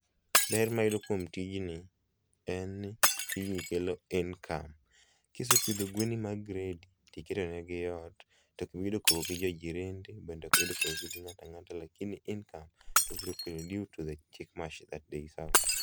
Ber ma ayudo kuom tijni en ni tijni kelo i ncome. Kisepidho gwendi mag gredi tiketo gi eot to ok iyudo compe gi jirende bende ok iyude compe gi ng'at ang'ata to income to obiro keloni due to the chick mash that they serve